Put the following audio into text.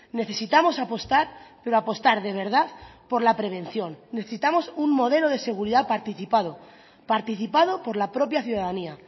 necesitamos apostar pero apostar de verdad por la prevención necesitamos un modelo de seguridad participado participado por la propia ciudadanía